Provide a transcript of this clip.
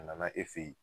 A nana e fɛ ye